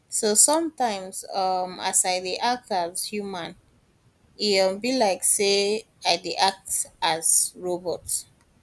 so sometimes um as i dey act as human e um be like say i dey act as robot